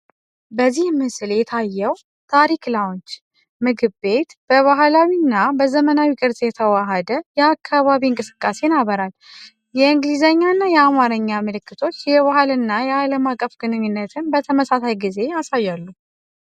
በዚህ ምስል የታየው “ታሪክ ላውንጅ” ምግብ ቤት በባህላዊ እና በዘመናዊ ቅርጽ የተዋሃደ የአካባቢ እንቅስቃሴን ያበራል። የእንግሊዝኛና የአማርኛ ምልክቶች የባህል እና የአለም አቀፍ ግንኙነትን በተመሳሳይ ጊዜ ያሳያሉ።